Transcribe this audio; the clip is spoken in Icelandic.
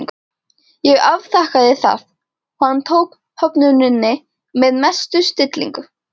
Ég afþakkaði það og hann tók höfnuninni með mestu stillingu.